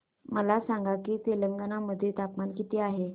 मला सांगा की तेलंगाणा मध्ये तापमान किती आहे